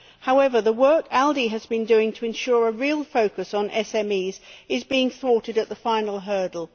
However, the work the ALDE Group has been doing to ensure a real focus on SMEs is being thwarted at the final hurdle.